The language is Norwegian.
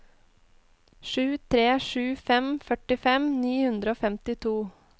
sju tre sju fem førtifem ni hundre og femtito